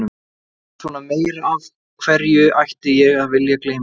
Eða svona meira, af hverju ætti ég að vilja gleyma því?